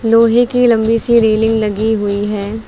लोहे की लंबी सी रेलिंग लगी हुई है।